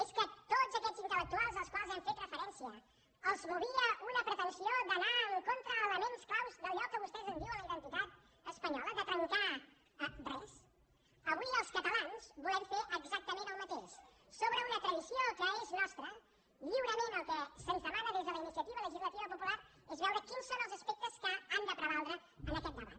és que a tots aquests intel·lectuals als quals hem fet referència els movia una pretensió d’anar en contra d’elements clau d’allò que vostès en diuen la identitat espanyola de trencar res avui els catalans volem fer exactament el mateix sobre una tradició que és nostra lliurement el que se’ns demana des de la iniciativa legislativa popular és veure quins són els aspectes que han de prevaldre en aquest debat